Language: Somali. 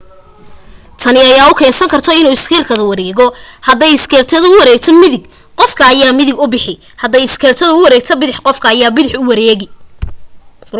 tani ayaa u keensan karto inuu iskeytka wareegto hadday iskeytka u wareegtaan midig qofka ayaa midig u bixi haday iskeytka u wareegtaan bidax qofka ayaa bidax u wareegi